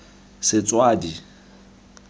setswadi